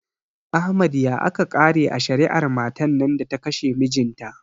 Ahmad ya aka kare a shari'ar matan nan da ta kashe mijinta?